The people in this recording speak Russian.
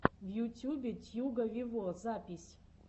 в ютюбе тьюга вево запись